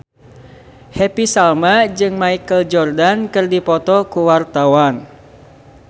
Happy Salma jeung Michael Jordan keur dipoto ku wartawan